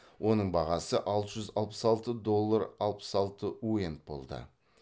оның бағасы алты жүз алпыс алты доллар алпыс алты уент болды